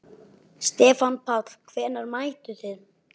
Stefán Páll: Hvenær mættuð þið?